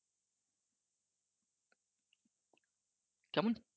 কেমন